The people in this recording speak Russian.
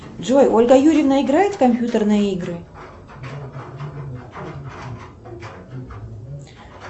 джой ольга юрьевна играет в компьютерные игры